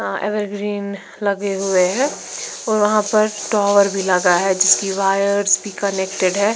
Ever green लगे हुए हैं और वहाँ पर टॉवर भी लगा है जिसकी वायर्स भी कनेक्टेड है।